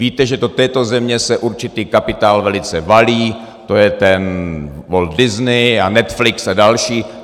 Víte, že do této země se určitý kapitál velice valí, to je ten Walt Disney a Netflix a další.